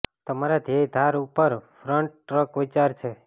તમારા ધ્યેય ધાર ઉપર ફ્રન્ટ ટ્રક વિચાર છે